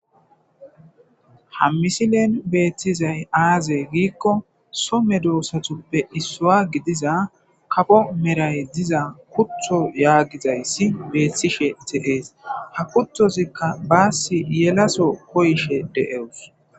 Ha misilen beettizay aazey giikko some doossatuppe issuwa gidiza kapo meray diza kutho yaagizayssi beethtishe tehees ha kuthozikka baassi yelaso koyshe de7ewus